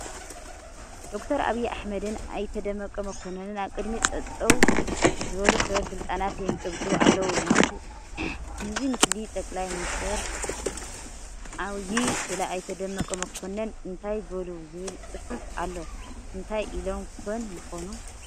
ዶክተር ዓብዪ ኣሕመድን ኣይተ ደመቀ መኮንን ኣብ ቅድሚ ጠጠው ዝበሉ ሰበ ስልጣናት የንጨብጭቡ ኣለዉ፡፡ ምስዚ ምስሊ ጠቅላይ ሚኒስትር ዓዪዪ ስለ ኣይተ ደመቀ መኮንን እታይ በሉ ዝብል ፅሑፍ ኣሎ፡፡ እንታይ ኢሎም ኮን ይኾኑ?